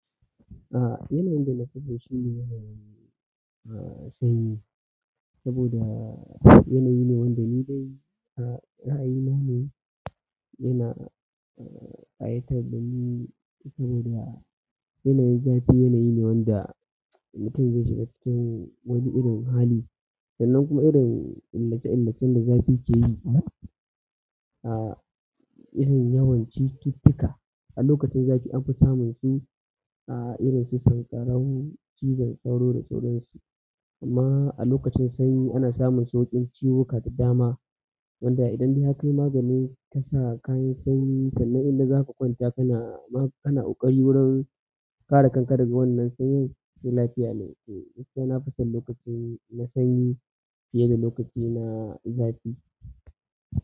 A yanayin da na fi so shine a sanyi saboda yanayi ne wanda ni dai a ra'ayi na ne yana ƙayatar dani saboda yanayin zafi yanayi ne wanda mutum zai shiga cikin wani irin hali sannan kuma irin illace illacen da zafi ke yi a irin yawan cututtuka. A lokacin zafi an fi samun su a irin susan ƙararrawu, cizon sauro da sauransu amma a lokacin sanyi ana samun sauƙin ciwuka da dama wanda idan bai kai magani tasa kayan sanyi sannan idan za ka kwanta kana ma kana ƙwari wurin ƙara kankare daga wannan sanyin sai lafiya ne. To, haka na fi son lokacin na sanyi fiye da lokacin na zafi.